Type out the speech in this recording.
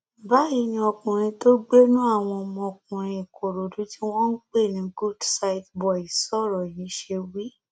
báyìí ni ọkùnrin tó gbénú àwọn ọmọkùnrin ìkòròdú tí wọn ń pè ní good sight boys sọrọ yìí ṣe wí